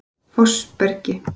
Fossbergi